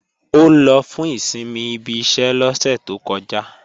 Ó lọ fún ìsinmi ibi iṣẹ́ lọ́sẹ̀ tó kọjá